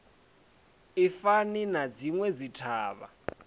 i fani na dzinwe dzithavha